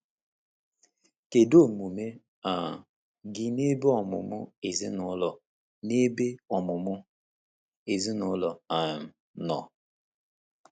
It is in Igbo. Kedu omume um gị n’ebe ọmụmụ ezinụlọ n’ebe ọmụmụ ezinụlọ um nọ?